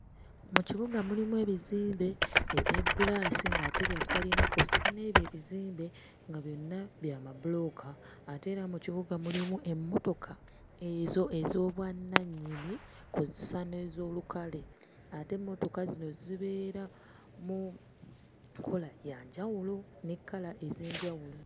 Mu kibuga mulimu ebizimbe ebya giraasi ng'ate bya kalina kw'ossa n'ebyo ebizimbe nga byonna bya mabulooka ate era mu kibuga mulimu emmotoka ezo ez'obwannannyini kw'ossa n'ez'olukale, ate emmotoka zino zibeera mu nkola ya njawulo ne kkala ez'enjawulo.